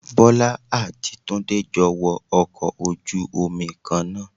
Bọ́lá àti Túndé jọ wọ ọkọ̀ ojú Omi Kan náà